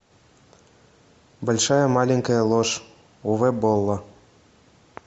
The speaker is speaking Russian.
большая маленькая ложь уве болла